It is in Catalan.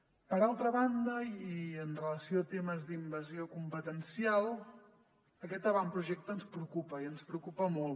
per altra banda i amb relació a temes d’invasió competencial aquest avantpro·jecte ens preocupa i ens preocupa molt